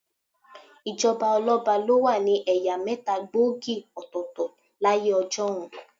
Ìjọba ọlọ́ba ló wà ní ẹ̀yà mẹ́ta gbòógì òtọ̀ọ̀tọ̀ láyé ọjọ́un.